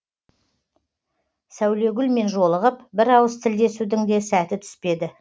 сәулегүлмен жолығып бір ауыз тілдесудің де сәті түспеді